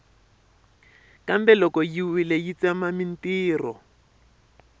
kambe loko yi wile yi tsema mintirho